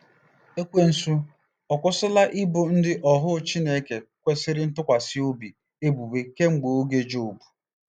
Ekwensu ọ̀ akwụsịla ibo ndị ohu Chineke kwesịrị ntụkwasị obi ebubo kemgbe oge Jobu?